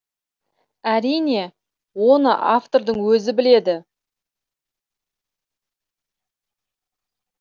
әрине оны автордың өзі біледі